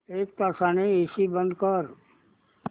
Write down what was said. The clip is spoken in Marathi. एक तासाने एसी बंद कर